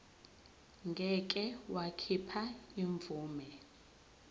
ngeke wakhipha imvume